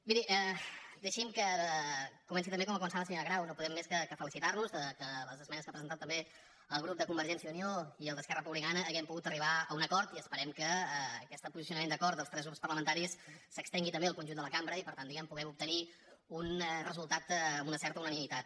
miri deixi’m que comenci també com ha començat la senyora grau no podem més que felicitar nos que en les esmenes que ha presentat també el grup de convergència i unió i el d’esquerra republicana hàgim pogut arribar a un acord i esperem que aquest posicionament d’acord dels tres grups parlamentaris s’estengui també al conjunt de la cambra i per tant diguem ne puguem obtenir un resultat amb una certa unanimitat